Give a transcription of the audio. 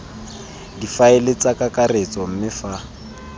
difaele tsa kakaretso mme fa